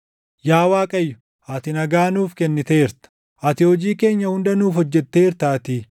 Yaa Waaqayyo, ati nagaa nuuf kenniteerta; ati hojii keenya hunda nuuf hojjetteertaatii.